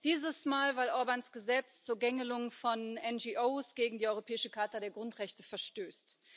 Dieses Mal, weil Orbáns Gesetz zur Gängelung von NGOs gegen die europäische Charta der Grundrechte verstößt.